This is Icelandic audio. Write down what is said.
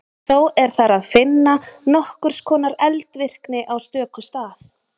Þó er þar að finna nokkurs konar eldvirkni á stöku stað.